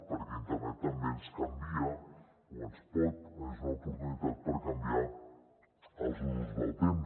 perquè internet també ens canvia o és una oportunitat per canviar els usos del temps